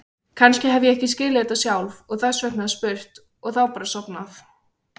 Kannski hef ég ekki skilið þetta sjálf og þess vegna spurt og þá bara sofnað.